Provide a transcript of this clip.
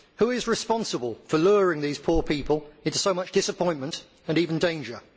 Who is responsible for luring these poor people into so much disappointment and even danger?